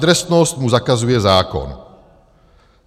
Adresnost mu zakazuje zákon.